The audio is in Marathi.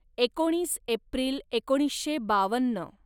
एकोणीस एप्रिल एकोणीसशे बावन्न